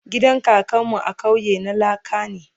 gidan kakan mu a kauye na laka ne